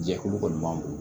Jɛkulu kɔni b'an bolo